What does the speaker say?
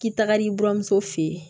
K'i tagali buramuso fe yen